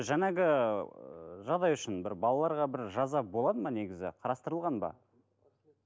жаңағы ыыы жағдай үшін бір балалаларға бір жаза болады ма негізі қарастырылған ба